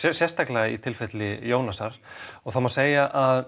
sérstaklega í tilfelli Jónasar og það má segja að